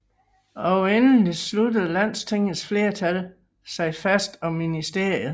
Og endelig sluttede Landstingets flertal sig fast om ministeriet